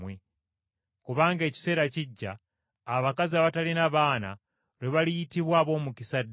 Kubanga ekiseera kijja abakazi abatalina baana lwe baliyitibwa ab’omukisa ddala.